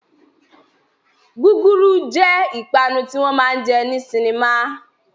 Gúgúrú jẹ́ ìpanu tí wọn máa jẹ ní sinimá